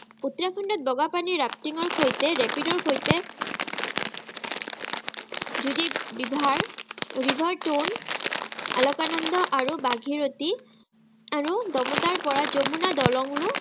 উত্তৰাখণ্ডত বগাপানী rafting ৰসৈতে rapid ৰসৈতে river, river-tone অলকানন্দা আৰু ভাগীৰথী, আৰু ডমতাৰপৰা যমুনা দলঙৰো